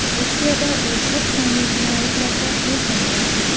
Rossiyada u ko‘p sonli jinoyatlarda ayblangan.